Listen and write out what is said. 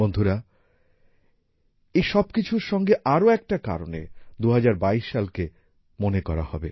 বন্ধুরা এই সব কিছুর সঙ্গে আরও একটা কারণে ২০২২ সালকে মনে করা হবে